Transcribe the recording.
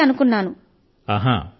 అలా వస్తాయి అనుకున్నాను